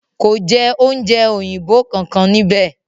Kò jẹ oúnjẹ òyìnbó kankan ní íbẹ̀.